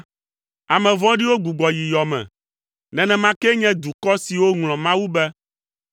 Ame vɔ̃ɖiwo gbugbɔ yi yɔ me, nenema kee nye dukɔ siwo ŋlɔ Mawu be.